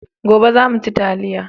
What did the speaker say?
Gobe za mu ci taliya